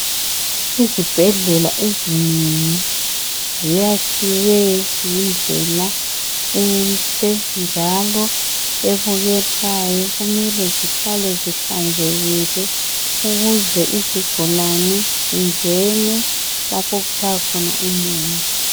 Izibhedlela ezinengi ziyakhiwe ngendlela enhle njalo ebukekayo. Kumele zihlale zihlanzekile ukuze izigulane zingene lapho okutshaya khona umoya.